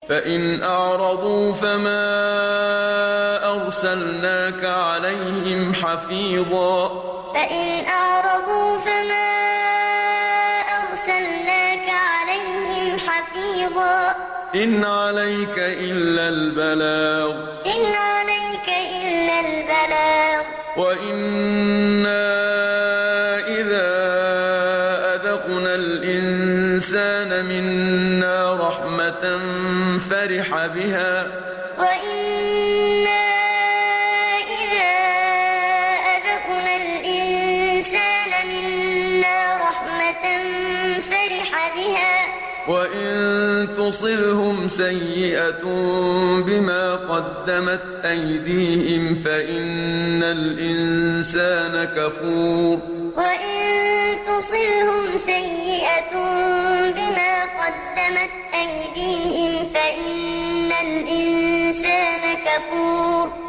فَإِنْ أَعْرَضُوا فَمَا أَرْسَلْنَاكَ عَلَيْهِمْ حَفِيظًا ۖ إِنْ عَلَيْكَ إِلَّا الْبَلَاغُ ۗ وَإِنَّا إِذَا أَذَقْنَا الْإِنسَانَ مِنَّا رَحْمَةً فَرِحَ بِهَا ۖ وَإِن تُصِبْهُمْ سَيِّئَةٌ بِمَا قَدَّمَتْ أَيْدِيهِمْ فَإِنَّ الْإِنسَانَ كَفُورٌ فَإِنْ أَعْرَضُوا فَمَا أَرْسَلْنَاكَ عَلَيْهِمْ حَفِيظًا ۖ إِنْ عَلَيْكَ إِلَّا الْبَلَاغُ ۗ وَإِنَّا إِذَا أَذَقْنَا الْإِنسَانَ مِنَّا رَحْمَةً فَرِحَ بِهَا ۖ وَإِن تُصِبْهُمْ سَيِّئَةٌ بِمَا قَدَّمَتْ أَيْدِيهِمْ فَإِنَّ الْإِنسَانَ كَفُورٌ